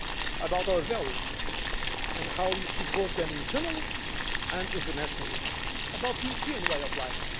about our values and how we support them internally and internationally about the European way of life.